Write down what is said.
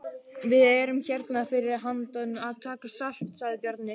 Við erum hérna fyrir handan að taka salt, sagði Bjarni.